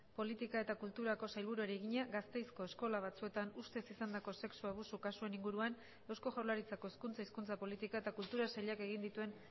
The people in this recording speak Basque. politika eta kulturako sailburuari egina gasteizko eskola batzuetan ustez izandako sexu abusu kasuen inguruan eusko jaurlaritzako hezkuntza hizkuntza politika eta kultura sailak egin dituen